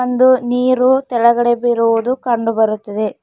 ಒಂದು ನೀರು ತೆಳಗಡೆ ಬೀರುವುದು ಕಂಡು ಬರುತ್ತಿದೆ.